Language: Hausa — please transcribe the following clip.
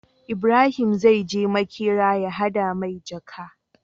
Ibarahim zai je makera ya hada mai jaka